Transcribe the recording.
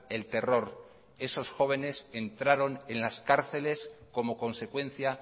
el terror esos jóvenes entraron en las cárceles como consecuencia